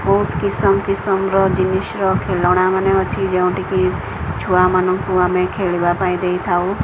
ବହୁତ କିସମ କିସମ ର ଜିନିଷ ର ଖେଳନା ମାନେ ଅଛି ଯେଉଁଠିକି ଛୁଆ ମାନଙ୍କୁ ଆମେ ଖେଳିବା ପାଇଁ ଦେଇଥାଉ।